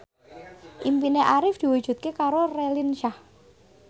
impine Arif diwujudke karo Raline Shah